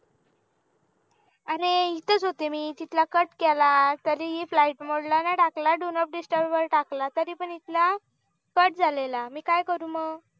अरे इथं च होते मी इथला cut केला तरी flight mode ला नाही टाकला do not disturb वर टाकला तरीपण इथला cut झालेला मी काय करू मग